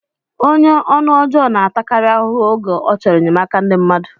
Onye ọnụ ọjọọ na-atakarị ahụhụ oge ọ chọrọ enyemaka ndị mmadụ